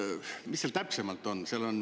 Mis seal täpsemalt on?